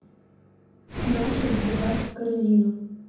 начос добавь в корзину